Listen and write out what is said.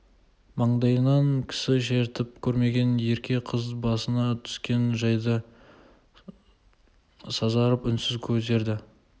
маңдайынан кісі шертіп көрмеген ерке қыз басына түскен жайды сазарып үнсіз көтерді